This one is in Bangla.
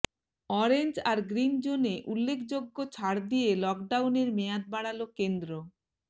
অরেঞ্জ আর গ্রিন জোনে উল্লেখযোগ্য ছাড় দিয়ে লকডাউনের মেয়াদ বাড়াল কেন্দ্র